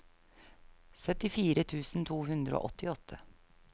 syttifire tusen to hundre og åttiåtte